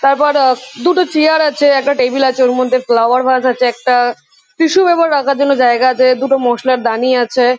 তারপর আ দুটো চেয়ার আছে একটা টেবিল আছে। ওর মধ্যে ফ্লাওয়ার ভাস আছে একটা । টিসু পেপার রাখার জন্য জায়গা আছে। দুটো মশলার দানি আছে।